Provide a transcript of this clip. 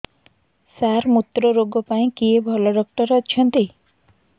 ସାର ମୁତ୍ରରୋଗ ପାଇଁ କିଏ ଭଲ ଡକ୍ଟର ଅଛନ୍ତି